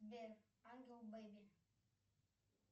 сбер ангел бэби